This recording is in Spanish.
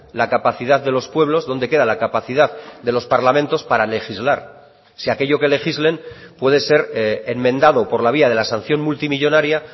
la capacidad de los pueblos dónde queda la capacidad de los parlamentos para legislar si aquello que legislen puede ser enmendado por la vía de la sanción multimillónaria